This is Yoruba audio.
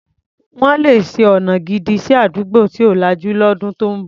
Wọ́n le ṣe ọna gidi sí àdúgbò tí ò lajú lọ́dún tó ń bọ̀.